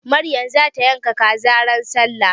Maryam za ta yanka kaza ran sallah.